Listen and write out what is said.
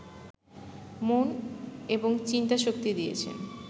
মনঃ এবং চিন্তাশক্তি দিয়াছেন